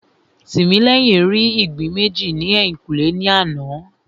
Tìmílẹ́yìn rí ìgbín méjì ní ẹ̀yìnkùlé ní àná